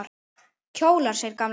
Kjólar! segir gamla konan.